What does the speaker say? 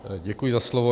Děkuji za slovo.